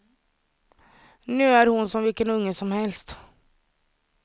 Nu är hon som vilken unge som helst.